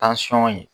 ye